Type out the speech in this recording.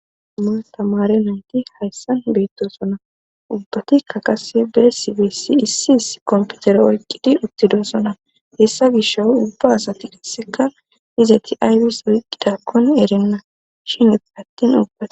Ma ta mare nayti hayssan beettosona ubbati ka qase besibessi issi is komputere oyqqidi uttidosona hessa gisho ubba asati disseka dizeti aywis wiqqidakkon erinna shinet attin ubbat..